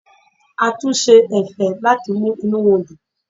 A tún ṣe ẹ̀fẹ̀ láti mú inú wọn dùn.